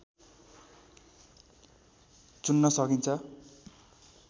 चुन्न सकिन्छ